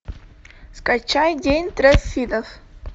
скачай день триффидов